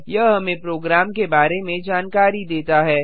यह हमें प्रोग्राम के बारे में जानकारी देता है